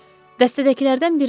Dəstədəkilərdən biri dedi.